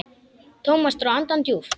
Thomas dró andann djúpt.